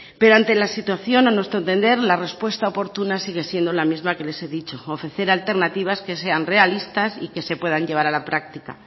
pero ante la situación a nuestro entender la respuesta oportuna sigue siendo la misma que les he dicho ofrecer alternativas que sean realistas y que se puedan llevar a la práctica